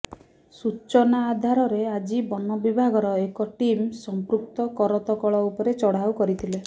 ସୂଚନା ଆଧାରରେ ଆଜି ବନବିଭାଗର ଏକ ଟିମ୍ ସମ୍ପୃକ୍ତ କରତକଳ ଉପରେ ଚଢ଼ାଉ କରିଥିଲେ